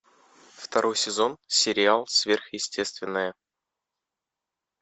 второй сезон сериал сверхъестественное